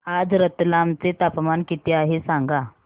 आज रतलाम चे तापमान किती आहे सांगा